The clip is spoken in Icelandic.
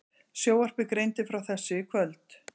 Sjónvarpið greindi frá þessu í kvöld